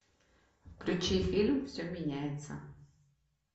включи фильм все меняется